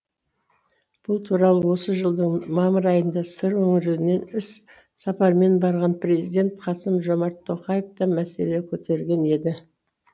бұл туралы осы жылдың мамыр айында сыр өңіріне іс сапармен барған президент қасым жомарт тоқаев та мәселе көтерген еді